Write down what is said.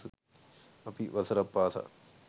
අපි වසරක් පාසා